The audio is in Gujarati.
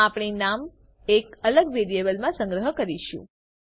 આપણે નામ એક અલગ વેરિયેબલમાં સંગ્રહ કરીશું